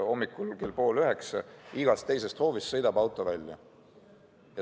Hommikul kell pool üheksa sõidab igast teisest hoovist auto välja.